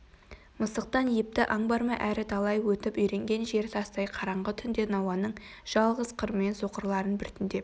мысықтан епті аң бар ма әрі талай өтіп үйренген жері тастай қараңғы түнде науаның жалғыз қырымен соқырларын біртіндеп